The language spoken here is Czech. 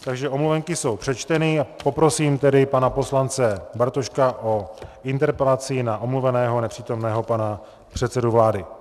Takže omluvenky jsou přečteny, poprosím tedy pana poslance Bartoška o interpelaci na omluveného nepřítomného pana předsedu vlády.